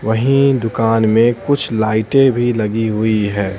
वहीं दुकान में कुछ लाइटें भी लगी हुई है।